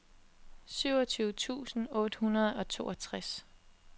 syvogtyve tusind otte hundrede og toogtres